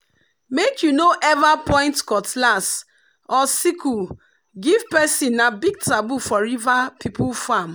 make you no ever point cutlass or sickle give person na big taboo for river people farm.